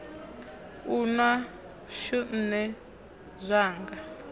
u nwa shu nṋe zwanga